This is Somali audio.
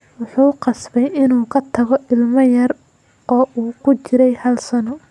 "Wuxuu qasbay inuu ka tago ilmo yar oo uu ku jirey hal sano."